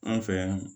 An fɛ yan